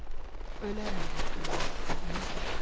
Ölərəm dərdindən, onu bil.